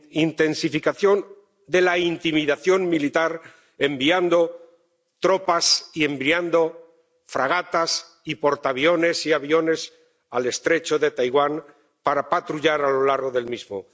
intensificación de la intimidación militar, enviando tropas y enviando fragatas, y portaviones y aviones, al estrecho de Taiwán para patrullar a lo largo del mismo.